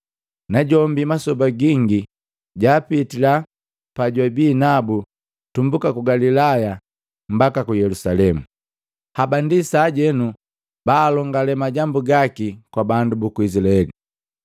Najombi masoba gingi, jaapitila bajwabii nabu tumbuka ku Galilaya mbaka ku Yelusalemu. Haba ndi sajenu baalongalee majambu gaki kwa bandu buku Izilaeli.